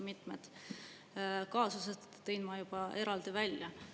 Mitmed kaasused tõin ma juba eraldi välja.